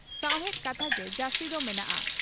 ᱥᱟᱣᱦᱮᱫ ᱠᱟᱛᱷᱟ ᱜᱮ ᱡᱟᱹᱥᱛᱤ ᱫᱚ ᱢᱮᱱᱟᱜᱼᱟ ᱾